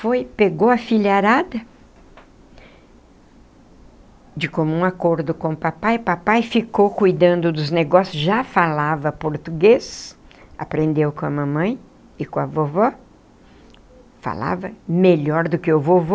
Foi, pegou a filharada de comum acordo com o papai, papai ficou cuidando dos negócios, já falava português, aprendeu com a mamãe e com a vovó, falava melhor do que o vovô,